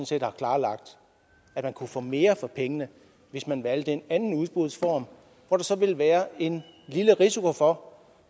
set har klarlagt at man kunne få mere for pengene hvis man valgte en anden udbudsform hvor der så ville være en lille risiko for